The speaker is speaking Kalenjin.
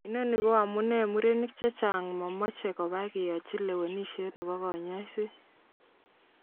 Inoni koamune murenik chechang momoche koba keyochi lewenishet nebo konyoiset.